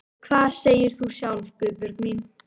Hvað segir þú sjálf, Guðbjörg mín?